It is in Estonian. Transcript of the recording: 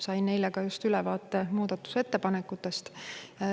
Sain just eile ka ülevaate muudatusettepanekutest.